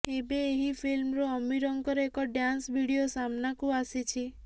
ଏବେ ଏହି ଫିଲ୍ମରୁ ଅମୀରଙ୍କର ଏକ ଡ୍ୟାନ୍ସ ଭିଡିଓ ସାମ୍ନା କୁ ଆସିଛି